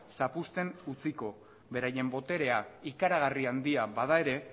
zapuzten utziko beraien boterea ikaragarri handia bada ere